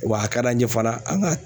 Wa a ka d'an ye fana an ka